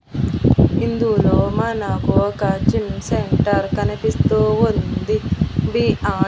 ఇందూలో మనకు ఒక gym centre కనిపిస్తూ ఉంది బీ_ఆర్ .